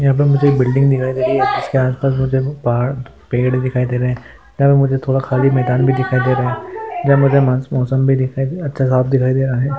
यहा पे मुझे एक बिल्डिंग दिखाई दे रही है इसके आसपास मुझे पहाड़ पेड़ दिखाई दे रहे यहा पे मुझे थोड़ा खाली मैदान भी दिखाई दे रहा जहा मुझे मास मौसम भी दिखाई दी अच्छा साफ दिखाई दे रहा है।